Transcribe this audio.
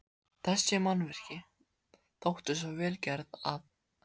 Þessi mannvirki þóttu svo vel gerð, að